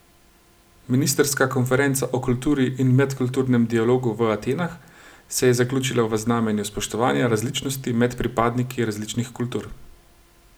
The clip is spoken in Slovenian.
Ministrska konferenca o kulturi in medkulturnem dialogu v Atenah se je zaključila v znamenju spoštovanja različnosti med pripadniki različnih kultur.